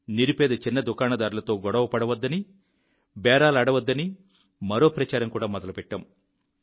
నిరుపేద చిన్న దుకాణదారులతో బేరాలాడమని గొడవలు పెట్టుకోమని మరో ప్రచారం మొదలుపెట్టాం